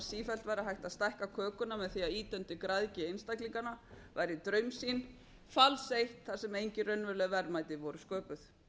sífellt væri hægt að stækka kökuna með því að ýta undir græðgi einstaklinganna væri draumsýn fals eitt þar sem enginn raunveruleg verðmæti voru sköpuð